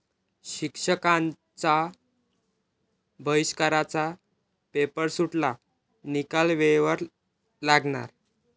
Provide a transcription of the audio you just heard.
शिक्षकांच्या बहिष्काराचा 'पेपर'सुटला, निकाल वेळेवर लागणार